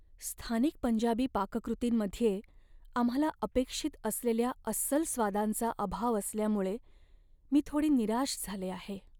स्थानिक पंजाबी पाककृतींमध्ये आम्हाला अपेक्षित असलेल्या अस्सल स्वादांचा अभाव असल्यामुळे मी थोडी निराश झाले आहे.